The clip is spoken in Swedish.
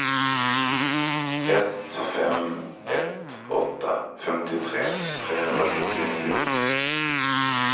ett fem ett åtta femtiotre trehundrasjuttionio